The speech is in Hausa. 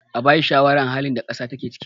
a bashi shawarar halin da kasa take ciki!